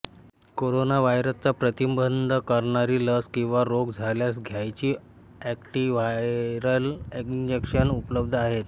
corona व्हायरसचा प्रतिबंध करणारी लस किंवा रोग झाल्यास घ्यायची एंटिव्हायरल इंजेक्शने उपलब्ध आहेत